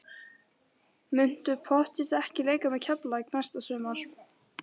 Muntu pottþétt ekki leika með Keflavík næsta sumar?